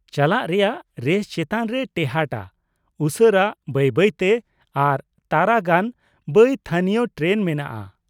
ᱪᱟᱞᱟᱜ ᱨᱮᱭᱟᱜ ᱨᱮᱥ ᱪᱮᱛᱟᱱ ᱨᱮᱭ ᱴᱮᱦᱟᱴᱟ , ᱩᱥᱟᱹᱨᱟ, ᱵᱟᱹᱭ ᱵᱟᱹᱭ ᱛᱮ ᱟᱨ ᱛᱟᱨᱟ ᱜᱟᱱ ᱵᱟᱹᱭ ᱛᱷᱟᱹᱱᱤᱭᱚ ᱴᱨᱮᱱ ᱢᱮᱱᱟᱜᱼᱟ ᱾